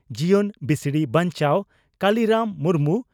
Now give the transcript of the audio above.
ᱡᱤᱭᱚᱱ ᱵᱤᱥᱲᱤ ᱵᱟᱧᱪᱟᱣ (ᱠᱟᱞᱤᱨᱟᱢ ᱢᱩᱨᱢᱩ)